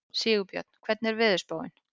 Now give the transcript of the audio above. Sigurbjörn, hvernig er veðurspáin?